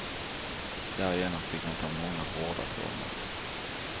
Därigenom fick han ta många hårda törnar.